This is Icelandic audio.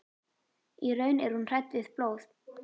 Í raun er hún hrædd við blóð.